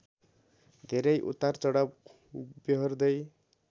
धेरै उतारचढाव बेहोर्दै